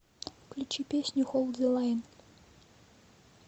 включи песню холд зэ лайн